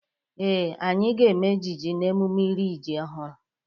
Ee, anyị ga-eme ejije n'emụme iri ji ọhụru.